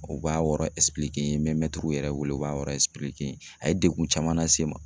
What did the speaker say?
O b'a yɔrɔ n ye me mɛtiriw yɛrɛ wele u b'a n ye a ye degun caman lase n ma